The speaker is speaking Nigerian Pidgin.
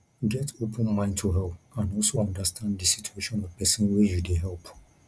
get open mind to help and also understand di situation of person wey you dey help